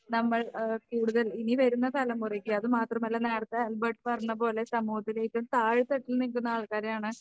നമ്മൾ ഏഹ് കൂടുതൽ ഇനി വരുന്ന തലമുറയ്ക്ക് അതുമാത്രമല്ല നേരത്തെ ആൽബർട്ട് പറഞ്ഞപോലെ സമൂഹത്തിൽ ഏറ്റവും താഴെ തട്ടിൽ നിൽക്കുന്ന ആൾക്കാരെയാണ്